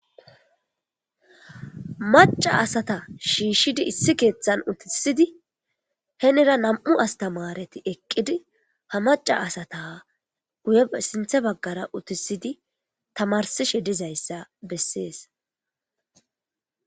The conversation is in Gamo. Macca asata shiishshidi issi keeththan uttisidi henira nami'u astamaareti eqqidi ha macca asata sinththe baggara uttisidi tamarsishe dizayssa bessees.